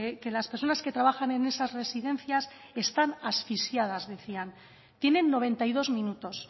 que las personas que trabajan en esas residencias están asfixiadas decían tienen noventa y dos minutos